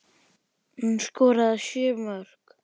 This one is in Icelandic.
Hún skoraði sjö mörk.